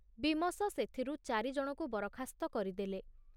ବୀମସ ସେଥିରୁ ଚାରିଜଣଙ୍କୁ ବରଖାସ୍ତ କରିଦେଲେ।